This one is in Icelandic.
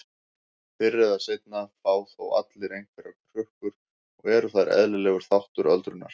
Fyrr eða seinna fá þó allir einhverjar hrukkur og eru þær eðlilegur þáttur öldrunar.